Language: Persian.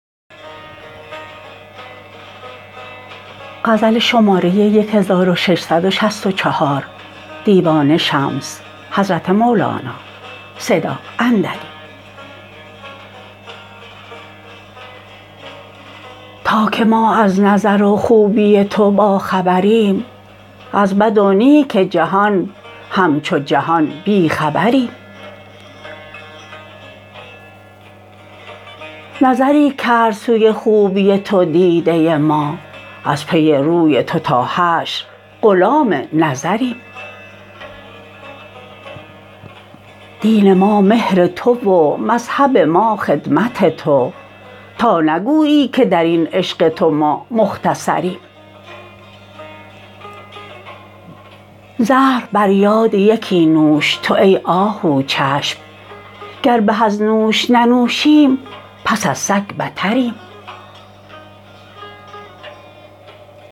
تا که ما از نظر و خوبی تو باخبریم از بد و نیک جهان همچو جهان بی خبریم نظری کرد سوی خوبی تو دیده ما از پی روی تو تا حشر غلام نظریم دین ما مهر تو و مذهب ما خدمت تو تا نگویی که در این عشق تو ما مختصریم زهر بر یاد یکی نوش تو ای آهوچشم گر به از نوش ننوشیم پس از سگ بتریم